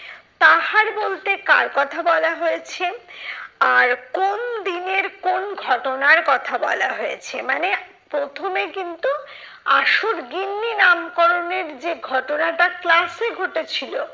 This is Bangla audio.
তাহার বলতে কার কথা বলা হয়েছে? আর কোন দিনের কোন ঘটনার কথা বলা হয়েছে? মানে প্রথমে কিন্তু আসল গিন্নি নামকরণের যে ঘটনাটা class এ ঘটেছিলো